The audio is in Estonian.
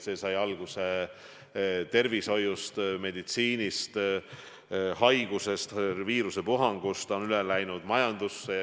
See sai alguse tervishoiust, meditsiinist – haigusest, viirusepuhangust – ja on üle kandunud majandusse.